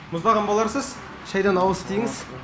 мұздаған боларсыз шайдан ауыз тиіңіз